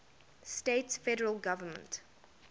states federal government